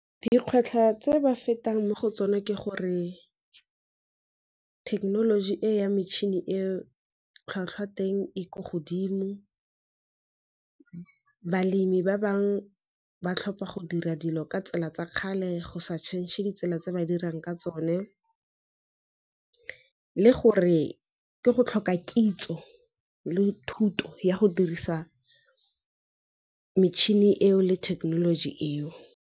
Dikgwetlho tse ba fetang mo go tsona ke gore thekenoloji e ya metšhini e tlhwatlhwa teng e ko godimo, balemi ba bangwe ba tlhopha go dira dilo ka tsela tsa kgale go sa change-e ditsela tse ba dirang ka tsone, le gore ke go tlhoka kitso le thuto ya go dirisa metšhini eo le thekenoloji eo.